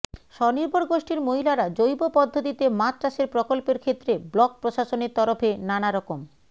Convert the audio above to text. স্বনির্ভর গোষ্ঠীর মহিলারা জৈব পদ্ধতিতে মাছ চাষের প্রকল্পের ক্ষেত্রে ব্লক প্রশাসনের তরফে নানা রকম